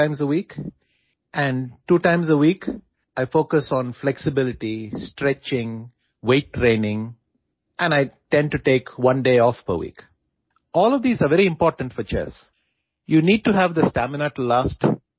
মই নমনীয়তা ষ্ট্ৰেচিং ওজন প্ৰশিক্ষণৰ ওপৰত গুৰুত্ব দিওঁ আৰু প্ৰতি সপ্তাহত অন্ততঃ এদিন জিৰণি লবলৈ চেষ্টা কৰো